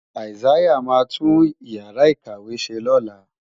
Isaiah máa tún Ìyàrá-ìkàwé ṣe lọ́la.